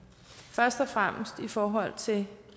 først og fremmest i forhold til